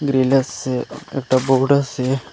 আসে একটা বোর্ড আসে।